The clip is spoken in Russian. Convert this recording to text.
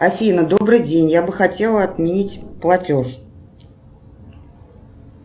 афина добрый день я бы хотела отменить платеж